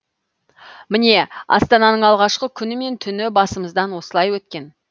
міне астананың алғашқы күні мен түні басымыздан осылай өткен